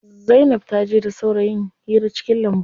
Zainab taje da saurayin hira cikin lambu.